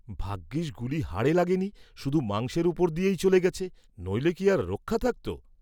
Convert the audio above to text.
ভাগ্যিস্ গুলি হাড়ে লাগিনি শুধু মাংসের উপর দিয়েই চলে গেছে, নইলে কি আর রক্ষা থাকত?